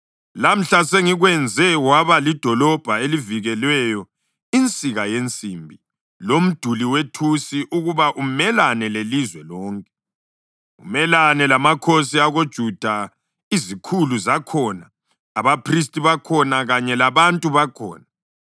Lamhla sengikwenze waba lidolobho elivikelweyo, insika yensimbi lomduli wethusi ukuba umelane lelizwe lonke, umelane lamakhosi akoJuda, izikhulu zakhona, abaphristi bakhona kanye labantu bakhona.